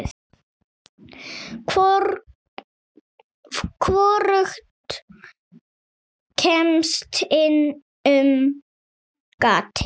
Hvorugt kemst inn um gatið.